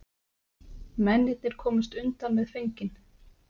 Mennirnir komust undan með fenginn